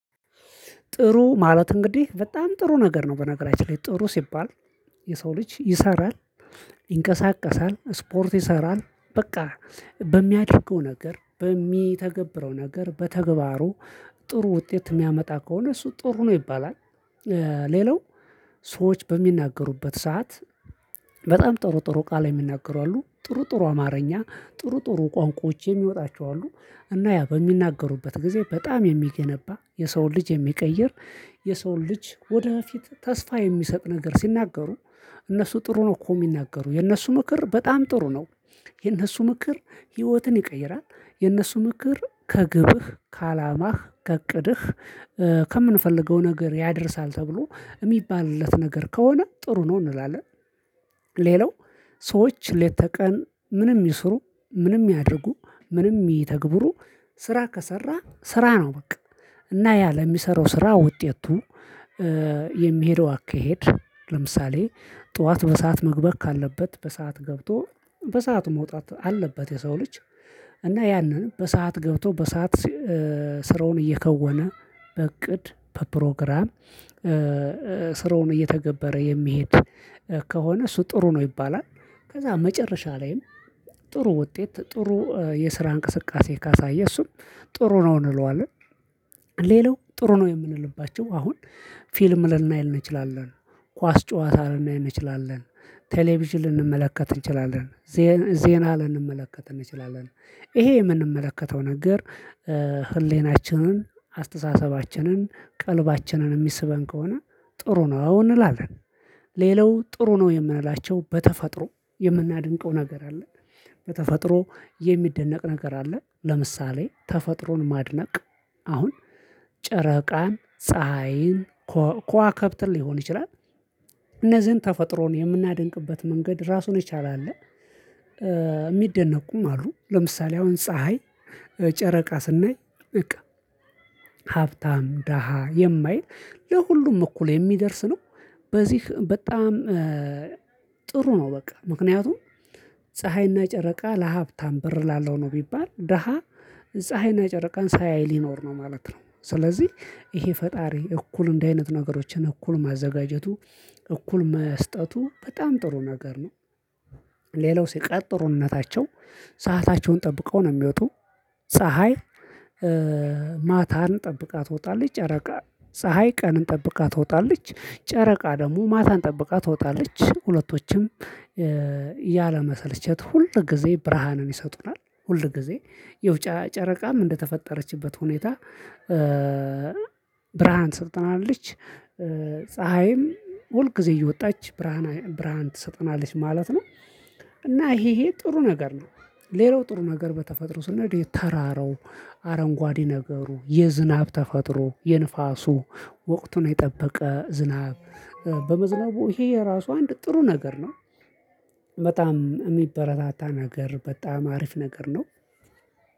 ጥሩ ማለት እንግዲህ በጣም ጥሩ ነገር ነው በነገራችን ላይ ጥሩ ሲባል የሰው ልጅ ይሰራል፥ ይንቀሳቀሳል፥ ስፖርት ይሰራል በቃ በሚያደርገው ነገር በሚተገብረው ነገር በተግባሩ ጥሩ ውጤት የሚያመጣ ከሆነ እሱ ጥሩ ነው ይባላል። ሌላው ሰዎች በሚናገሩበት ሰዓት በጣም ጥሩ ጥሩ ቃል የሚናገሩ አሉ። ጥሩ ጥሩ አማርኛ ጥሩ ጥሩ ቋንቋዎች የሚወጣቸው አሉ። እና ያ በሚናገሩበት ጊዜ በጣም የሚገነባ የሰውን ልጅ የሚቀይር የሰውን ልጅ ወደፊት ተስፋ የሚሰጥ ነገር ሲናገሩ እነሱ ጥሩ ነው እኮ የሚናገሩ የነሱ ምክር በጣም ጥሩ ነው። የነሱ ምክር ህይወትን ይቀይራል። የነሱ ምክር ከግብህ ከአላማህ ከእቅድህ ከምንፈልገው ነገር ያደርሳል ተብሎ የሚባልለት ነገር ከሆነ ጥሩ ነው እንላለን። ሌላው ሰዎች ሌተ ቀን ምንም ይስሩ ምንም ያድርጉ ምንም ይተግብሩ ስራ ከሰራ ስራ ነው በቃ። እና ያ ለሚሰራው ስራ ውጤቱ የሚሄደው አካሄድ ለምሳሌ ጠዋት በሰአት መግበት ካለበት በሰአት ገብቶ በሰአት መውጣት አለበት የሰው ልጅ እና ያንን በሰአት ገብቶ በሰአት ስራውን እየከወነ በእቅድ በፕሮግራም ስራውን እየተገበረ የሚሄድ ከሆነ እሱ ጥሩ ነው ይባላል። ከዛ መጨረሻ ላይም ጥሩ ውጤት ጥሩ የስራ እንቅስቃሴ ካሳየ እሱም ጥሩ ነው እንለዋለን። ሌላው ጥሩ ነው የምንልባቸው አሁን ፊልም ልናይ እንችላለን። ኳስ ጨዋታ ልናይ እንችላለን። ቴሌቪዥን ልንመለከት እንችላለን ዜና ልንመለከት እንችላለን። ይሄ የምንመለከተው ነገር ህሌናችንን ፥አስተሳሰባችንን፥ ቀልባችንን የሚስበን ከሆነ ጥሩ ነው እንላለን። ሌላው ጥሩ ነው የምንላቸው በተፈጥሮ የምናድንቀው ነገር አለ። በተፈጥሮ የሚደነቅ ነገር አለ ለምሳሌ ተፈጥሮን ማድነቅ በተፈጥሮ የሚደነቅ ነገር አለ ለምሳሌ ተፈጥሮን ማድነቅ እነዚህን ተፈጥሮን የምናደንቅበት መንገድ እራሱን የቻለ አለ። ሚደነቁም አሉ ለምሳሌ፥ ፀሐይ፥ ጨረቃ ስናይ ሀብታም ድሃ የማይል ለሁሉም እኩል የሚደርስ ነው ስለዚህ በጣም ጥሩ ነው በቃ ምክንያቱም ፀሀይና ጨረቃ ለሀብታም ብር ላለው ነው ቢባል ድሃ ፀሀይና ጨረቃን ሳያይ ሊኖር ነው ማለት ነው። ስለዚህ ፈጣሪ እንደዚህ አይነት ነገሮችን እኩል ማዘጋጀቱ እኩል መስጠቱ በጣም ጥሩ ነገር ነው። ሌላው ሲቀር ጥሩነታቸው ሰአታቸውን ጠብቀው ነው የሚወጡ ፀሀይ ማታን ጠብቃ ትወጣለች። ጨረቃ ፀሀይ ቀንን ጠብቃ ትወጣለች ጨረቃ ደግሞ ማታን ጠብቃ ትወጣለች። ሁለቶችም ያለምሰልቸት ሁል ጊዜ ብርሃንን ይሰጡናል ሁል ጊዜ የው ጨረቃም እንደተፈጠረችበት ሁኔታ ብርሃን ትሰጠናለች። ፀሀይም ሁል ጊዜ እየወጣች ብርሃን ብርሃን ትሰጠናለች ማለት ነው። እና ይሄ ይሄጥሩ ነገር ነው። ሌላው ጥሩ ነገር በተፈጥሮ ስንል ተራራው አረንጓዴ ነገሩ የዝናብ ተፈጥሮው የንፋሱ ወቅቱን የጠበቀ ዝናብ በመዝነቡ ይሄ የራሱ አንድ ጥሩ ነገር ነው። አሁን ጨረቃን፥ ፀሀይን፥ ከዋክብትን ሊሆን ይችላል።